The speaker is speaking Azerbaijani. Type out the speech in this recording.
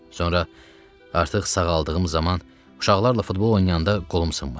Sonra artıq sağaldığım zaman uşaqlarla futbol oynayanda qolum sınmışdı.